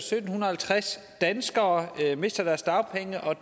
sytten halvtreds danskere mister deres dagpenge og at